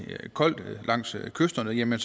koldt langs kysterne vil man